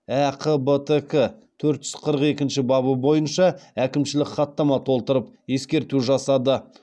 әқбтк төрт жүз қырық екінші бабы бойынша әкімшілік хаттама толтырып ескерту жасады